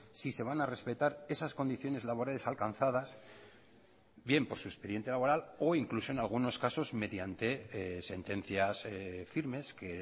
si se van a respetar esas condiciones laborales alcanzadas bien por su expediente laboral o incluso en algunos casos mediante sentencias firmes que